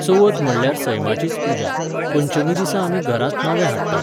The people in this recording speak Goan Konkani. चवथ म्हणल्यार सैमाचीच पुजा, पंचमी दिसा आमी घरांत नवें हाडटात